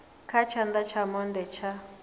kha tshana tsha monde tsha